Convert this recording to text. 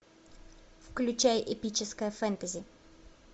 включай эпическое фэнтези